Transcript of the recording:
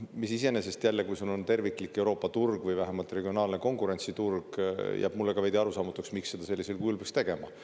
Mis iseenesest jälle, kui sul on terviklik Euroopa turg või vähemalt regionaalne konkurentsiturg, jääb mulle ka veidi arusaamatuks, miks seda sellisel kujul peaks tegema.